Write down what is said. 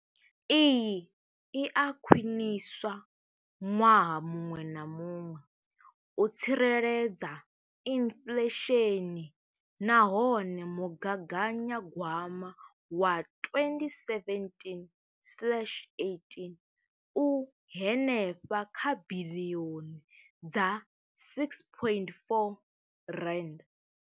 Iyi i a khwiniswa ṅwaha muṅwe na muṅwe u tsireledza inflesheni nahone mugaganyagwama wa 2017,18 u henefha kha biḽioni dza R6.4.